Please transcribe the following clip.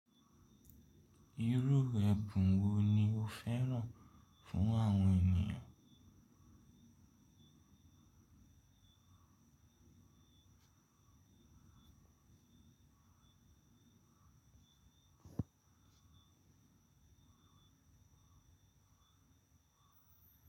Irú ẹ̀bùn wo ni ó fẹ́ràn fún àwọn ènìyàn?